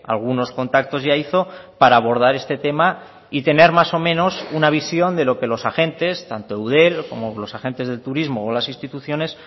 algunos contactos ya hizo para abordar este tema y tener más o menos una visión de lo que los agentes tanto eudel como los agentes del turismo o las instituciones